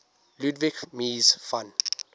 ludwig mies van